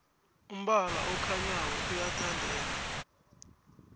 umbala okhanyako uyathandeka